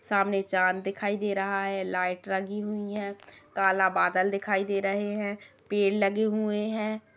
सामने चाँद दिखाई दे रहा है लाईट लगी हुई है काला बादल दिखाई दे रहे हैं पेड़ लगे हुए हैं।